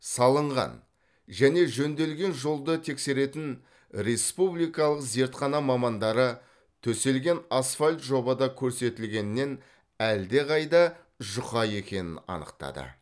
салынған және жөнделген жолды тексеретін республикалық зертхана мамандары төселген асфальт жобада көрсетілгеннен әлдеқайда жұқа екенін анықтады